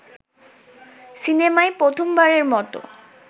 সিনেমায় প্রথমবারের মতো